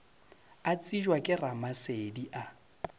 a tsebja ke ramasedi a